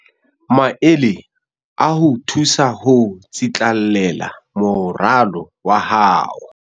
Maele a ho o thusa ho tsitlallela moralo wa hao